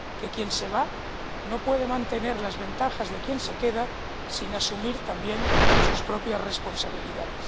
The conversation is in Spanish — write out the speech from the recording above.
quien se va no puede mantener las ventajas de quien se queda sin asumir también sus propias responsabilidades.